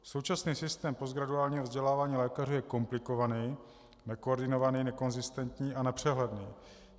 Současný systém postgraduálního vzdělávání lékaře je komplikovaný, nekoordinovaný, nekonzistentní a nepřehledný.